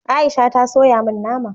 Aisha ta soya min nama